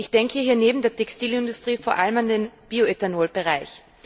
Ich denke hier neben der Textilindustrie vor allem an den Bioethanolbereich.